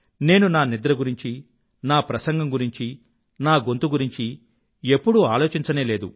నేను నా నిద్ర గురించీ నా ప్రసంగం గురింఛీ నా గొంతు గురించీ ఎప్పుడూ ఆలోచించనే లేదు